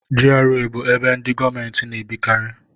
GRA bụ ebe ndị gọọmenti na-ebikarị.